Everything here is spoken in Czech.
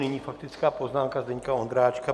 Nyní faktická poznámka Zdeňka Ondráčka.